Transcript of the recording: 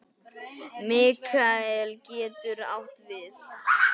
Mikael getur átt við